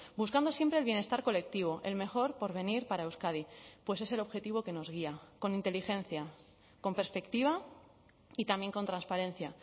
buscando siempre el bienestar colectivo el mejor porvenir para euskadi pues es el objetivo que nos guía con inteligencia con perspectiva y también con transparencia